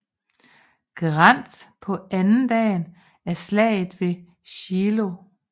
Grant på andendagen af Slaget ved Shiloh